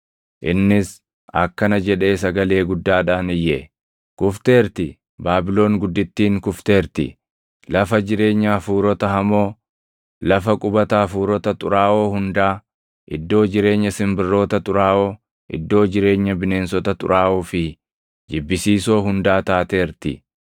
Innis akkana jedhee sagalee guddaadhaan iyye: “ ‘Kufteerti! Baabilon guddittiin kufteerti!’ Lafa jireenya hafuurota hamoo, lafa qubata hafuurota xuraaʼoo hundaa, iddoo jireenya simbirroota xuraaʼoo, iddoo jireenya bineensota xuraaʼoo fi // jibbisiisoo hundaa taateerti.